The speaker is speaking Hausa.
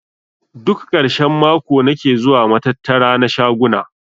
Duk karshen mako nake zuwa matattara na shaguna.